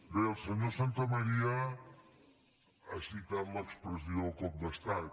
bé el senyor santamaría ha citat l’expressió cop d’estat